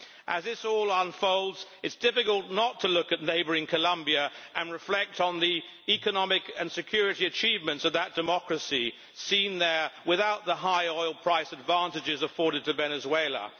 As this all unfolds, it is difficult not to look at neighbouring Colombia and reflect on the economic and security achievements of that democracy, seen there without the high oil price advantages afforded to Venezuela.